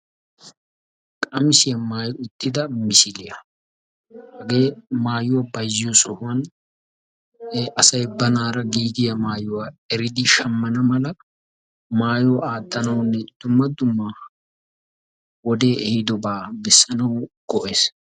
Qamissiya maayyi uttida misiliya, hage asay maayuwaa shammiyo sohuwan giigiyaa maayuwa eriddi shammana mala maayuwa aattanawunne dumma dumma wode ehidobaa bessanaw go'ees.